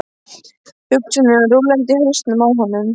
Hugsanirnar rúllandi í hausnum á honum.